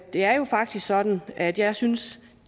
er jo faktisk sådan at jeg synes at